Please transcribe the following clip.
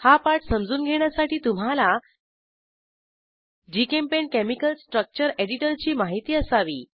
हा पाठ समजून घेण्यासाठी तुम्हाला जीचेम्पेंट केमिकल स्ट्रक्चर एडिटरची माहिती असावी